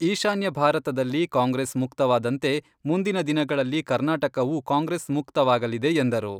ಈಶಾನ್ಯ ಭಾರತದಲ್ಲಿ ಕಾಂಗ್ರೆಸ್ ಮುಕ್ತವಾದಂತೆ, ಮುಂದಿನ ದಿನಗಳಲ್ಲಿ ಕರ್ನಾಟಕವೂ ಕಾಂಗ್ರೆಸ್ ಮುಕ್ತವಾಗಲಿದೆ ಎಂದರು.